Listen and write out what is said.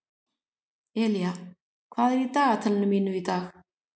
Elía, hvað er í dagatalinu mínu í dag?